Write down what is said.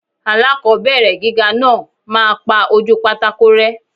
Aláàkọ́bẹ̀rẹ̀ gíga náà máa pa ojúu pátákó rẹ́.